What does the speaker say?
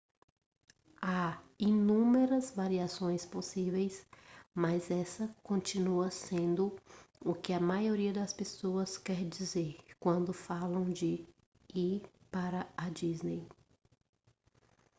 há inúmeras variações possíveis mas essa continua sendo o que a maioria das pessoas quer dizer quando falam de ir para a disney